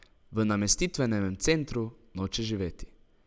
V namestitvenem centru noče živeti.